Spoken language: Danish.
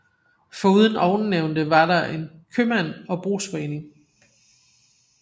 Foruden ovennævnte var der købmand og brugsforening